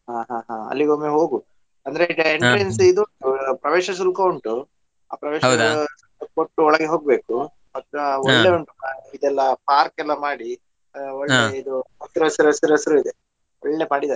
ಹಾ ಹಾ ಹಾ ಅಲ್ಲಿಗೊಮ್ಮೆ ಹೋಗು ಅಂದ್ರೆ ಇದು ಪ್ರವೇಶ ಶುಲ್ಕ ಉಂಟು ಕೊಟ್ಟು ಒಳಗೆ ಹೋಗ್ಬೇಕು ಇದೆಲ್ಲಾ park ಎಲ್ಲಾ ಮಾಡಿ ಆ ಹಸಿರಸಿರಸಿರಸಿರು ಇದೆ ಒಳ್ಳೆ ಮಾಡಿದಾರೆ.